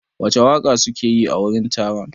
Wace waƙa suke yi a wurin taron?